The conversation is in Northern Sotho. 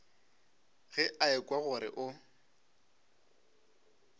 ge a ekwa gore o